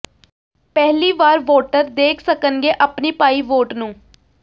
ਪਹਿਲੀ ਵਾਰ ਵੋਟਰ ਦੇਖ ਸਕਣਗੇ ਆਪਣੀ ਪਾਈ ਵੋਟ ਨੂੰ